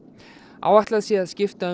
áætlað sé að skipta um